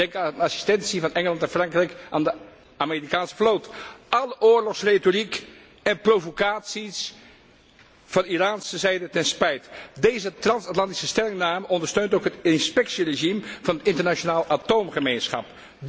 Denk aan de assistentie van Engeland en Frankrijk aan de Amerikaanse vloot, alle oorlogsretoriek en provocaties van Iraanse zijde ten spijt. Deze transatlantische stellingname ondersteunt ook het inspectieregime van de internationale atoomgemeenschap.